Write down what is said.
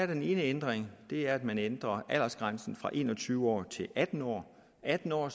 den ene ændring er at man ændrer aldersgrænsen fra en og tyve år til atten år atten år